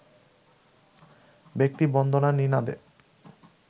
ব্যক্তিবন্দনার নিনাদে